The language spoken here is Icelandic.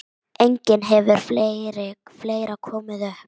Einnig hefur fleira komið upp.